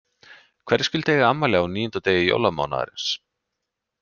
Hverjir skyldu eiga afmæli á níunda degi jólamánaðarins.